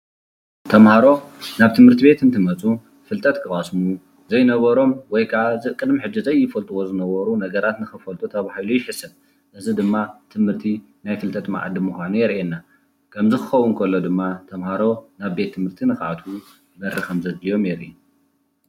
ተምሃሮ ናብ ትምህርት ቤት እንትመፁ ፍልጠት ክቐስሙ ዘይነበሮም ወይከዓ ቅድሚ ሕዚ ዘይፈልጥዎ ዝነበሩ ነገራት ንኽፈልጡ ተባሂሉ ይሕሰብ፡፡ እዚ ድማ ትምህርቲ ናይ ፍልጠት መኣዲ ምዃኑ የሪኤና፡፡ ከምዚ ክኸውን ከሎ ድማ ተምሃሮ ናብ ቤት ትምህርቲ ንኽኣትዉ በሪ ከምዘድልዮም የርኢ፡፡